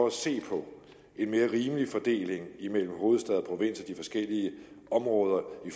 at se på en mere rimelig fordeling imellem hovedstad og provins og de forskellige områder i